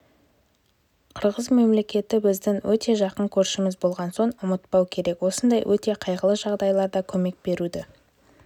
қырғыз мемлекеті біздің өте жақын көршіміз болған соң ұмытпау керек осындай өте қайғылы жағдайларда көмек беруді